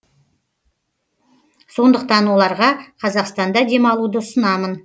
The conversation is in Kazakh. сондықтан оларға қазақстанда демалуды ұсынамын